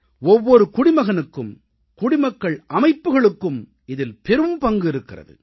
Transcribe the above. ஒவ்வொரு குடிமகனுக்கும் குடிமக்கள் அமைப்புக்களுக்கும் இதில் பெரும்பங்கு இருக்கிறது